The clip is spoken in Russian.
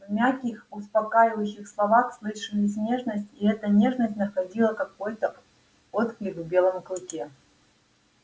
в мягких успокаивающих словах слышалась нежность и эта нежность находила какой то отклик в белом клыке